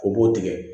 O b'o tigɛ